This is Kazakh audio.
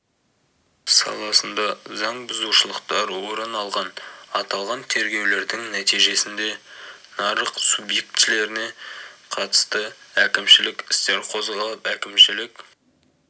саласында заң бұзушылықтар орын алған аталған тергеулердің нәтижесінде нарық субъектілеріне қатысты әкімшілік істер қозғалып әкімшілік